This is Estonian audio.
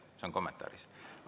See on kommentaaris.